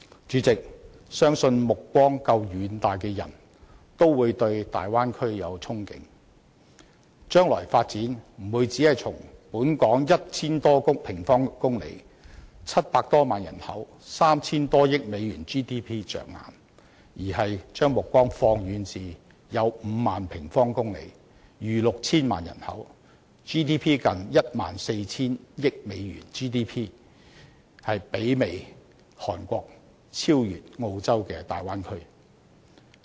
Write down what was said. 主席，相信目光夠遠大的人都會對大灣區有憧憬，將來的發展不會只從本港 1,000 多平方公里、700多萬人口、3,000 多億美元 GDP 着眼，而是要將目光放遠至5萬多平方公里、逾 6,000 萬人口、近 14,000 億美元 GDP、媲美韓國、超越澳洲的大灣區。